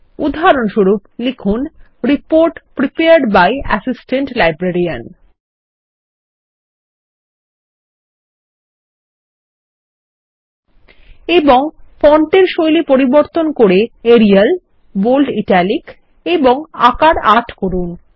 উদাহরণস্বরূপ লিখুন report prepared by assistant librarian এবংফন্টের শৈলী পরিবর্তন করেএরিয়াল বোল্ড ইটালিক এবংআকার ৮ করুন